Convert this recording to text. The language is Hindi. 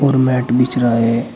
और मैट बिछ रहा है।